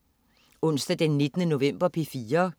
Onsdag den 19. november - P4: